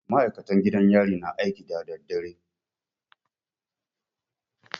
Maikatan gidan yari na aiki da dadadare